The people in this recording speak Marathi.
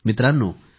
मित्रांनो